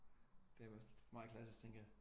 Det er også meget klassisk tænker jeg